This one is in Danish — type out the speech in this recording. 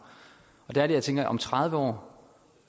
der er det jeg tænker at om tredive år